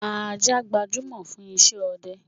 Ajá gbajúmọ̀ fún isẹ́ ọdẹ